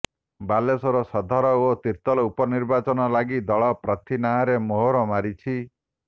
ବାଲେଶ୍ବର ସଦର ଓ ତିର୍ତ୍ତୋଲ ଉପନିର୍ବାଚନ ଲାଗି ଦଳ ପ୍ରାର୍ଥୀ ନାଁରେ ମୋହର ମାରିଛି